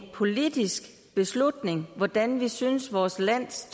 politisk beslutning hvordan vi synes vores lands